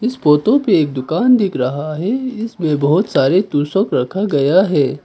Photo पे एक दुकान दिख रहा है इसमें बहुत सारे तोशक रखा गया है।